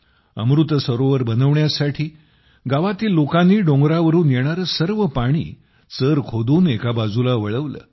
अमृत सरोवर बनवण्यासाठी गावातील लोकांनी डोंगरावरून येणारे सर्व पाणी चर खोदून एका बाजूला वळवले